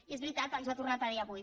i és veritat ens ho ha tornat a dir avui